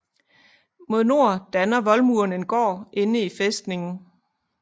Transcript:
Mod nord danner voldmuren en gård inde i fæstningen